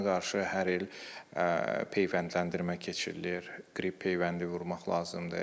Ona qarşı hər il peyvəndləndirmə keçirilir, qrip peyvəndi vurmaq lazımdır.